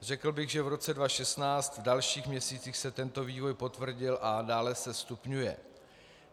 Řekl bych, že v roce 2016 v dalších měsících se tento vývoj potvrdil a dále se stupňuje.